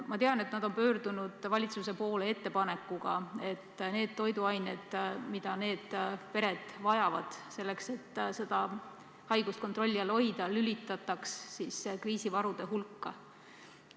Ma tean, et nad on pöördunud valitsuse poole ettepanekuga, et need toiduained, mida pered selle haiguse kontrolli all hoidmiseks vajavad, lülitataks kriisivarude hulka.